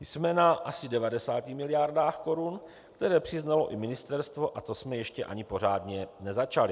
Jsme na asi 90 miliardách korun, které přiznalo i ministerstvo, a to jsme ještě ani pořádně nezačali.